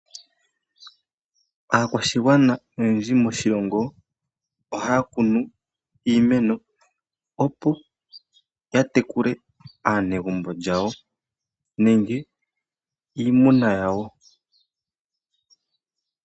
Aakwashigwana oyendji moshilongo ohaya kunu iimeno, opo yatekule aanegumbo lyawo, nenge iimuna yawo.